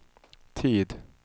tid